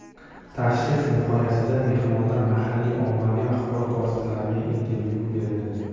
Tashrif nihoyasida mehmonlar mahalliy ommaviy axborot vositalariga intervyu berdi.